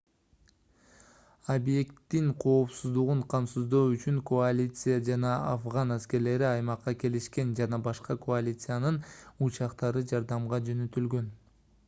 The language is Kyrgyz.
объекттин коопсуздугун камсыздоо үчүн коалиция жана афган аскерлери аймакка келишкен жана башка коалициянын учактары жардамга жөнөтүлгөн